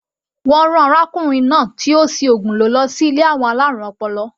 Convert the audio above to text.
Wọ́n rán arákùnrin náà tí ó si ògùn lò lọsí ilé àwọn alárùn ọpọlọ.